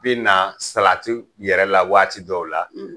Bi na salatiw yɛrɛ la waati dɔw la